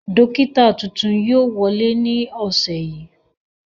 Dókítà tuntun yóò wọlé ní ọ̀sẹ̀ yìí